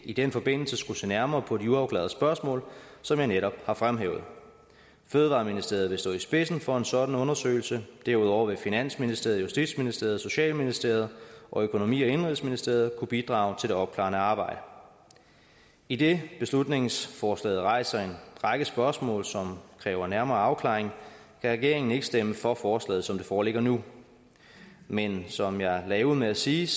i den forbindelse skulle se nærmere på de uafklarede spørgsmål som jeg netop har fremhævet fødevareministeriet vil stå i spidsen for en sådan undersøgelse og derudover vil finansministeriet justitsministeriet socialministeriet og økonomi og indenrigsministeriet kunne bidrage til det opklarende arbejde idet beslutningsforslaget rejser en række spørgsmål som kræver nærmere afklaring kan regeringen ikke stemme for forslaget som det foreligger nu men som jeg lagde ud med at sige